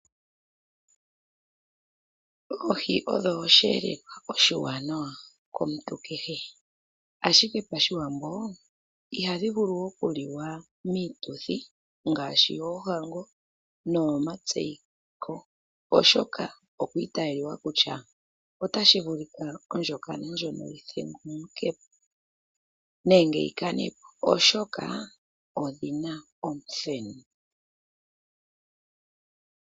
Oohi odho oshiyelelwa oshiwanawa komuntu kehe, ashike pashiwambo ihadhi vulu okuliwa miituthi ngaashi yoohango noyomatseyiko oshoka osha italiwa kutya otashi vulika ondjokana ndjono yithegukepo nenge yikane po, oshoka odhina omuthenu.